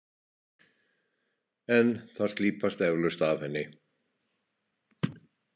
En það slípast eflaust af henni.